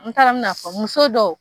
N ta don n bɛna fɔ muso dow.